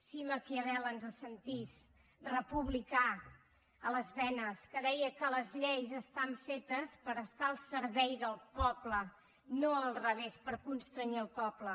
si maquiavel ens sentís republicà a les venes que deia que les lleis estan fetes per estar al servei del poble no al revés per constrènyer el poble